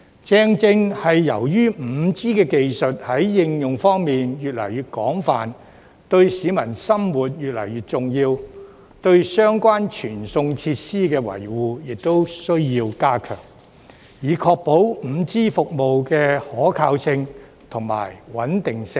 正正由於 5G 技術在應用方面越來越廣泛，對市民生活越來越重要，對相關傳送設施的維護亦需要加強，以確保 5G 服務的可靠性和穩定性。